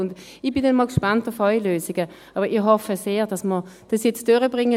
Und ich bin dann mal gespannt auf Ihre Lösungen, hoffe aber sehr, dass wir das jetzt durchbringen.